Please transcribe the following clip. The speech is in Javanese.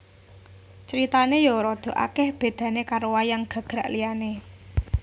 Critane ya radha akeh bedane karo wayang gagrak liane